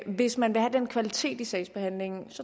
hvis man vil have den kvalitet i sagsbehandlingen